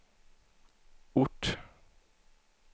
ort